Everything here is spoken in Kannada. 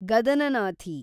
ಗದನನಾಥಿ